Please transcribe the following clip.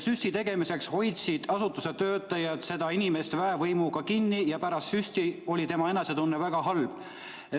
Süsti tegemiseks hoidsid asutuse töötajad seda inimest väevõimuga kinni ja pärast süsti oli tema enesetunne väga halb.